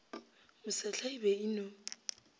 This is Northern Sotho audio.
mosehla e be e no